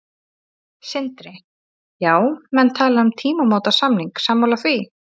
Sindri: Já, menn tala um tímamótasamning, sammála því?